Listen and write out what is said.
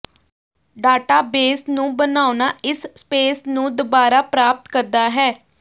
database ਨੂੰ ਬਣਾਉਣਾ ਇਸ ਸਪੇਸ ਨੂੰ ਦੁਬਾਰਾ ਪ੍ਰਾਪਤ ਕਰਦਾ ਹੈ